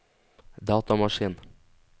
datamaskin